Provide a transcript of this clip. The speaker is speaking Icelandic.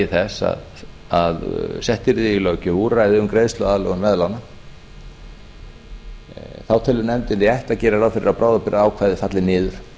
þess að sett yrði í löggjöf úrræði um greiðsluaðlögun veðlána þá telur nefndin rétt að gera ráð fyrir að bráðabirgðaákvæðið falli niður